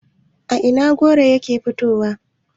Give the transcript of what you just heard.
a Ina goro yake fitowa?